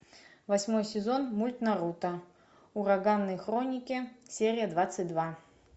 восьмой сезон мульт наруто ураганные хроники серия двадцать два